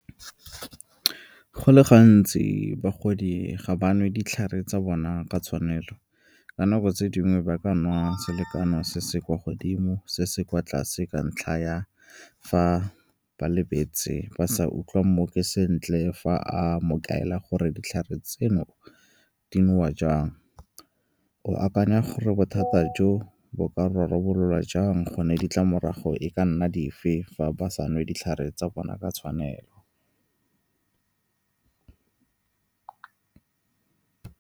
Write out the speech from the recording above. Go le gantsi bagodi ga ba nwe ditlhare tsa bona ka tshwanelo. Ka nako tse dingwe ba ka nwa selekano se se kwa godimo, se se kwa tlase, ka ntlha ya fa ba lebetse ba sa utlwa mmoki sentle fa a mokaedi a gore ditlhare tseno di nowa jang. O akanya gore bothata jo bo ka rarabololwa jang, gone ditlamorago e ka nna dife fa ba sa nwe ditlhare tsa bona ka tshwanelo.